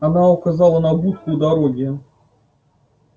она указала на будку у дороги